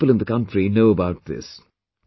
Not many people in the country know about this